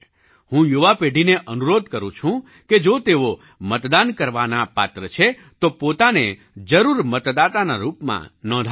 હું યુવા પેઢીને અનુરોધ કરું છું કે જો તેઓ મતદાન કરવાના પાત્ર છે તો પોતાને જરૂર મતદાતાના રૂપમાં નોંધાવે